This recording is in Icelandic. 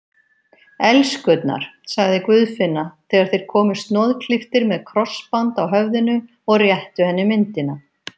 Elskurnar, sagði Guðfinna þegar þeir komu snoðklipptir með krossband á höfðinu og réttu henni myndina.